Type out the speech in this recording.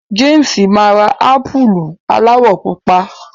James ma rà ámpùlù aláwọ̀ pupa.